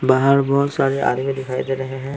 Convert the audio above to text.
बाहर बहुत सारे आदमी दिखाई दे रहे हैं।